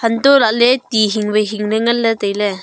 anto lahle ti hingwai hing le ngan le taile.